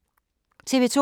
TV 2